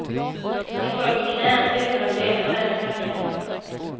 Jag föll på knä, utan att veta vem jag tackade.